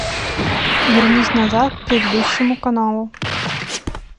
вернись назад к предыдущему каналу